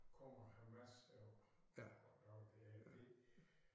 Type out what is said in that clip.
Kommer Hamas og og laver det her inde i